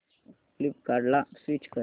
फ्लिपकार्टं ला स्विच कर